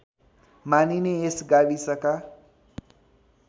मानिने यस गाविसमा